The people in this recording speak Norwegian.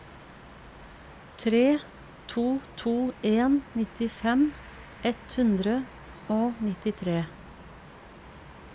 tre to to en nittifem ett hundre og nittitre